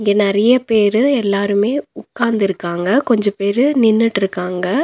இங்க நெறைய பேரு எல்லாருமே உக்காந்துருக்காங்க கொஞ்ச பேரு நின்னுட்ருக்காங்க.